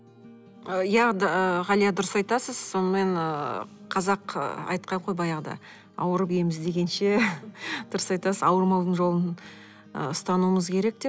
ы иә ы ғалия дұрыс айтасыз сонымен ыыы қазақ ы айтқан ғой баяғыда ауырып ем іздегенше дұрыс айтасыз ауырмаудың жолын ы ұстануымыз керек деп